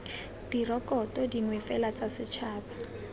direkoto dingwe fela tsa setšhaba